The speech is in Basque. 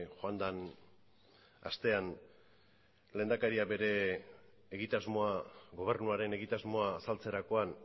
joan den astean lehendakariak gobernuaren egitasmoa azaltzerakoan